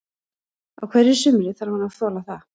Á hverju sumri þarf hann að þola það.